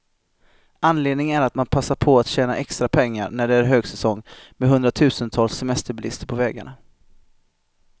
Anledningen är att man passar på att tjäna extra pengar, när det är högsäsong med hundratusentals semesterbilister på vägarna.